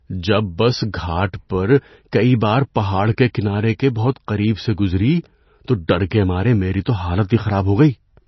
جب بس گھاٹ پر کئی بار پہاڑ کے کنارے کے بہت قریب سے گزری تو ڈر کے مارے میری تو حالت خراب ہو گئی۔